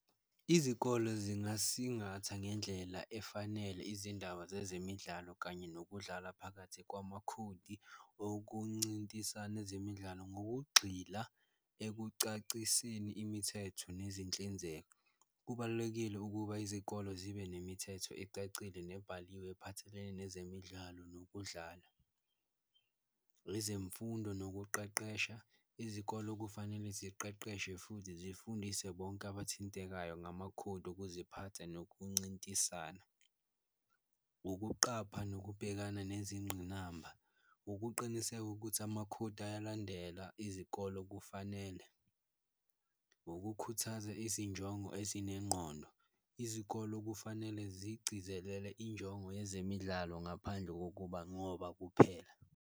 Izikolo zingasingatha ngendlela efanele izindaba zezemidlalo kanye nokudlala phakathi kwamakhodi okuncintisana ezemidlalo, ngokugxila ekucaciseni imithetho nezinhlinzeko. Kubalulekile ukuba izikolo zibe nemithetho ecacile nebhaliwe ephathelene nezemidlalo nokudlala, ezemfundo nokuqeqesha, izikolo okufanele ziqeqeshe futhi zifundise bonke abathintekayo ngamakhodi okuziphatha nokuncintisana. Ukuqapha nokubhekana nezingqinamba, ukuqiniseka ukuthi amakhodi ayalandela izikolo kufanele ukukhuthaza izinjongo ezinengqondo, izikolo kufanele ziyigcizelele injongo yezemidlalo ngaphandle kokuba ngoba kuphela